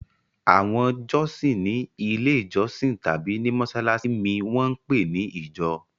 Àwọn jọ́sìn ní Ilé-ìjọsìn tàbí ní mọ́ṣáláṣí mi wọ́n ń pè ní ìjọ.